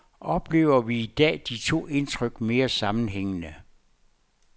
Oplever vi i dag de to indtryk mere sammenhængende.